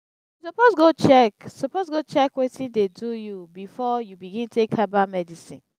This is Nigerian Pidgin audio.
you suppose go check suppose go check wetin dey do you before you begin take herbal medicine.